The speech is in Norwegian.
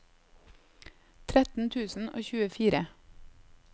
tretten tusen og tjuefire